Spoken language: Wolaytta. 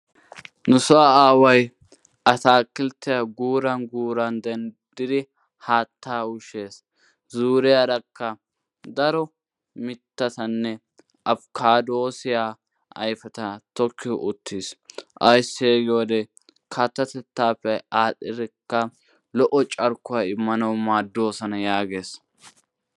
Nusoo aawayi ataakilttiya guuran guuran denddidi haattaa ushshes. Zuuriyarakka daro mittatanne afikkaaddoosiya ayfeta tokki uttis ayssee giyode kattatettaappe aadhdhidikka lo"o carkkuwa immanawu maaddoosona yaages.